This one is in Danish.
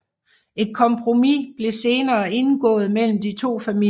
Et kompromis blev senere indgået mellem de to familier